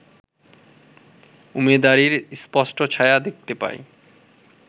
উমেদারির স্পষ্ট ছায়া দেখতে পাই